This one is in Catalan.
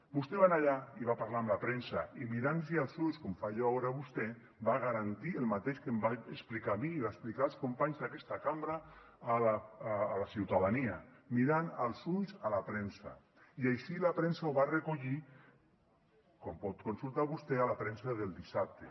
vostè va anar allà i va parlar amb la premsa i mirant los als ulls com faig jo ara amb vostè va garantir el mateix que em va explicar a mi i va explicar als companys d’aquesta cambra a la ciutadania mirant als ulls a la premsa i així la premsa ho va recollir com pot consultar vostè a la premsa del dissabte